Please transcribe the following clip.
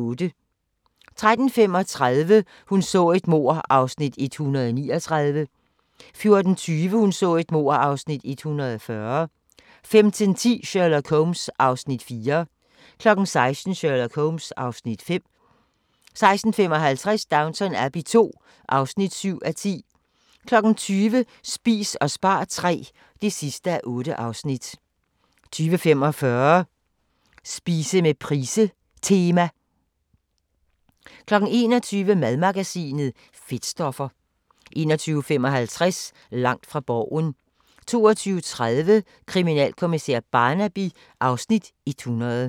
13:35: Hun så et mord (Afs. 139) 14:20: Hun så et mord (Afs. 140) 15:10: Sherlock Holmes (Afs. 4) 16:00: Sherlock Holmes (Afs. 5) 16:55: Downton Abbey II (7:10) 20:00: Spis og spar III (8:8) 20:45: Spise med Price Tema 21:00: Madmagasinet: Fedtstoffer 21:55: Langt fra Borgen 22:30: Kriminalkommissær Barnaby (Afs. 100)